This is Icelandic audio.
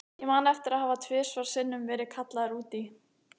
Ég man eftir því að hafa tvisvar sinnum verið kallaður út í